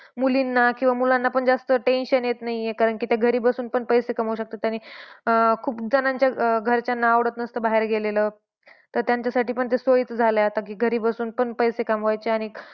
मुलींना किंवा मुलांना पण जास्त tension येत नाही आहे. कारण की ते घरी बसून पण पैसे कमवू शकतात. आणि अं खूप जणांच्या घरच्यांना आवडत नसतं बाहेर गेलेलं. तर त्यांच्यासाठी पण सोयीचं झालेले आहे आता की घरी बसूनही पैसे कमवायचे आणि